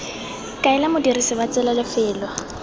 kaela modirisi wa tsela lefelo